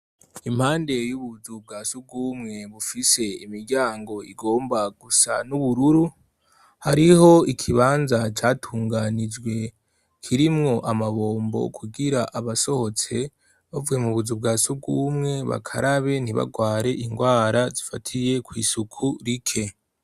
impande y'ubuzu bwa sugumwe bufise imiryango igomba gusa n'ubururu hariho ikibanza catunganijwe kirimwo amabombo kugira abasohotse bavuye mu buzu bwa sugumwe bakarabe ntibagware indwara zifatiye kw'isuku rike